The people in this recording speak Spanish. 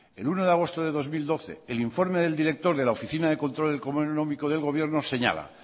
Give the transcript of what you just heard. el uno de agosto de dos mil doce el informe del director de la oficina de control económico del gobierno señala